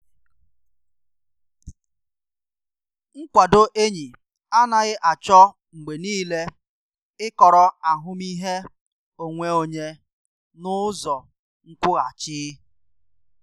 Nkwado enyi anaghị achọ mgbe niile ikọrọ ahụmịhe onwe onye n’ụzọ nkwụghachi.